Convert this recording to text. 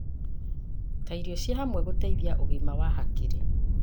ta irio cia hamwe gũteithagia ũgima wa hakiri.